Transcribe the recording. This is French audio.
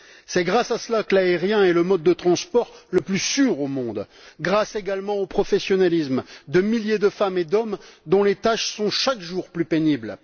C'est grâce à cela que l'avion est le mode de transport le plus sûr au monde, grâce également au professionnalisme de milliers de femmes et d'hommes dont les tâches sont, chaque jour, plus pénibles.